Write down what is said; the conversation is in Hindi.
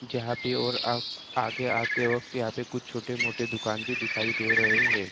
जहाँं पे और आप आगे आते वक्त यहाँ पे कुछ छोटे-मोटे दुकान भी दिखाई दे रहे हैं।